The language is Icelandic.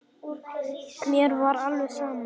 Mér var alveg saman.